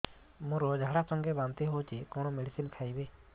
ମୋର ଝାଡା ସଂଗେ ବାନ୍ତି ହଉଚି କଣ ମେଡିସିନ ଖାଇବି